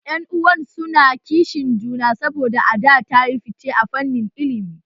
Yan uwan su na kishin juna saboda Ada ta yi fice a fannin ilimi